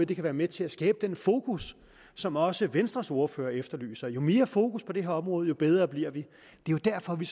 det kan være med til at skabe den fokus som også venstres ordfører efterlyser jo mere fokus på det her område jo bedre bliver vi det er derfor vi